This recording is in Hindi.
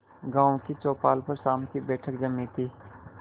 गांव की चौपाल पर शाम की बैठक जमी थी